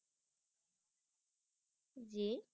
জী।